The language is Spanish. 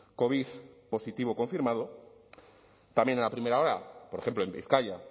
covid positivo confirmado también en la primera ola por ejemplo en bizkaia